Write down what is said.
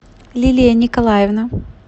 лилия николаевна